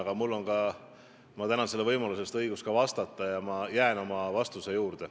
Aga mul on ka – ma tänan selle võimaluse eest – õigus vastata ja ma jään oma vastuse juurde.